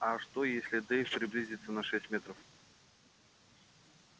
а что если дейв приблизится на шесть метров